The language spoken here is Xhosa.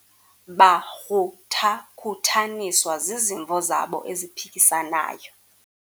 bakruthakhuthaniswa zizimvo zabo eziphikisanayo